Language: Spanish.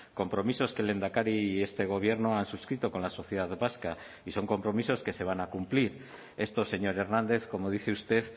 compromisos que el lehendakari y este gobierno han suscrito con la sociedad vasca y son compromisos que se van a cumplir esto señor hernández como dice usted